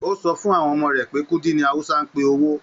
O sọ fún àwọn ọmọ rẹ pé kúdí ní Hausa n pé owó.